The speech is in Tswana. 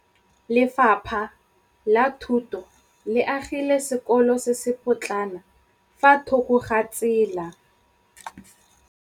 Lefapha la Thuto le agile sekôlô se se pôtlana fa thoko ga tsela.